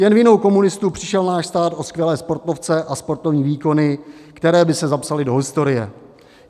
Jen vinou komunistů přišel náš stát o skvělé sportovce a sportovní výkony, které by se zapsaly do historie.